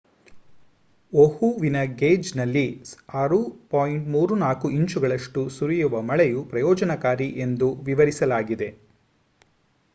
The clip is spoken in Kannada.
ಓಹುವಿನ ಗೇಜ್‌ನಲ್ಲಿ 6.34 ಇಂಚುಗಳಷ್ಟು ಸುರಿಯುವ ಮಳೆಯು ಪ್ರಯೋಜನಕಾರಿ ಎಂದು ವಿವರಿಸಲಾಗಿದೆ